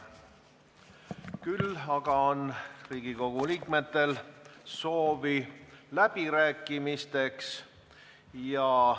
Küll aga on Riigikogu liikmetel soovi läbirääkimisteks.